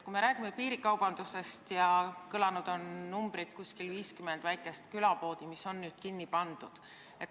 Kui me räägime piirikaubandusest, siis on ka kõlanud number, et umbes 50 väikest külapoodi on kinni pandud.